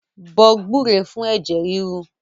Bọ gbúre fún ẹ̀jẹ̀ ríru